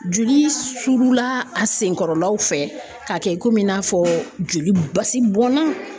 Joli surula a sen kɔrɔlaw fɛ k'a kɛ komi i n'a fɔ joli basi bɔnna.